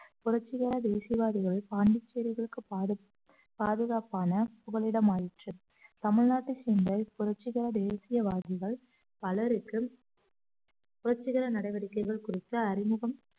புரட்சிகர தேசியவாதிகளை பாண்டிச்சேரிகளுக்கு பாது~ பாதுகாப்பான புகழிடம் ஆயிற்று தமிழ்நாட்டு புரட்சிகர தேசியவாதிகள் பலருக்கும் புரட்சிகர நடவடிக்கைகள் குறித்த அறிமுகம்